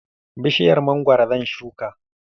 Bishiyar mangwaro zan shuka.